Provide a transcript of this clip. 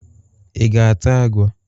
Ị ga-ata agwọ?